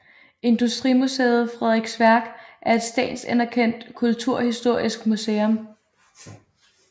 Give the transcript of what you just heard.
Industrimuseet Frederiks Værk er et statsanerkendt kulturhistorisk museum